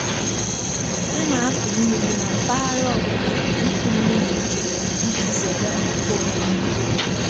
A na-akụ mmiri na mpaghara ọ bụla nke ịkụ mmiri iche iche iji zere mfu nrụgide.